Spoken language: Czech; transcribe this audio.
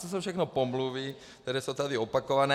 To jsou všechno pomluvy, které jsou tady opakované.